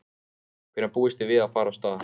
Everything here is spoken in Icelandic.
Hvenær búist þið við að fara af stað?